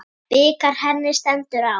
Bikar henni stendur á.